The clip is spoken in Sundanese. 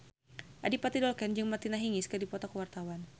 Adipati Dolken jeung Martina Hingis keur dipoto ku wartawan